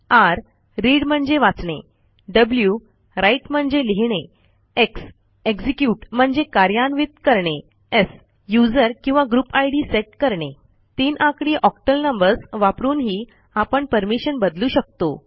r read म्हणजे वाचणे w write म्हणजे लिहिणे x एक्झिक्युट म्हणजे कार्यान्वित करणे s यूझर किंवा ग्रुप इद सेट करणे तीन आकडी ऑक्टल नंबर्स वापरूनही आपण परमिशन बदलू शकतो